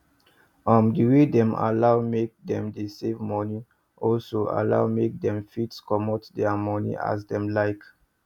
um the way dem allow make them dey save moni also allow make dem fit comot thier moni as them like